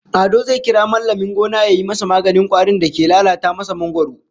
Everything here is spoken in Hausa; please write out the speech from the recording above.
Ado zai kira mallamin gona yayi masa maganin kwarin da ke lalata masa mangwaro